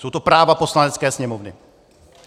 Jsou to práva Poslanecké sněmovny.